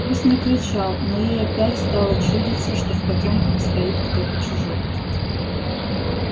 гусь не кричал но ей опять стало чудиться что в потёмках стоит кто-то чужой